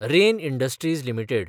rain Industries limited